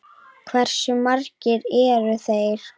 Hversu margir eru þeir?